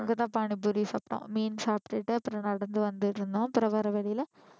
இங்கதான் பானிபூரி சாபிட்டோம் மீன் சாப்பிட்டுட்டு அப்புறம் நடந்து வந்துட்டு இருந்தோம் அப்புறம் வர்ற வழியில